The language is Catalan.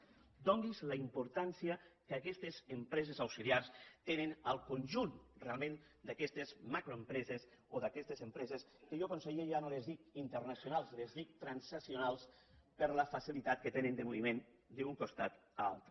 adonise’n de la importància que aquestes empreses auxiliars tenen en el conjunt realment d’aquestes macroempreses o d’aquestes empreses que jo conseller ja no en dic internacionals els en dic transnacionals per la facilitat que tenen de moviment d’un costat a l’altre